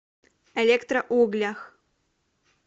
электроуглях